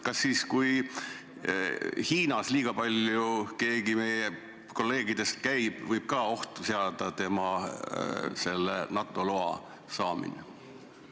Kas see, kui keegi meie kolleegidest liiga palju Hiinas käib, võib ka ohtu seada tema NATO loa saamise?